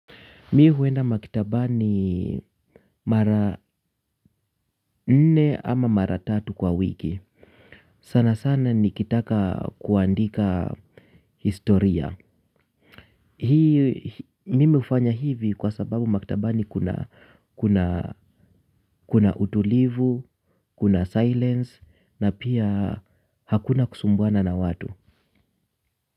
Mimi huenda maktabani mara nne ama mara tatu kwa wiki. Sana sana nikitaka kuandika historia. Hii mimi hufanya hivi kwa sababu maktabani kuna kuna utulivu, kuna silence na pia hakuna kusumbuana na watu.